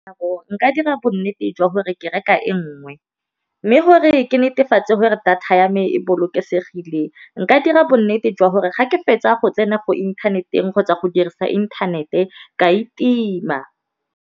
Nka dira bonnete jwa gore ke reka e ngwe, mme gore ke netefatse gore data ya me e bolokesegileng nka dira bonnete jwa gore ga ke fetsa go tsena mo inthaneteng kgotsa go dirisa inthanete ka e tima.